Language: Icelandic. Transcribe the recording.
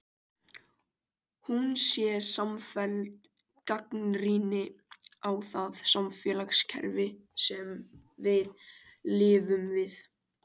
Hún sé samfelld gagnrýni á það samfélagskerfi sem við lifum við.